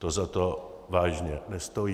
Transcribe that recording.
To za to vážně nestojí.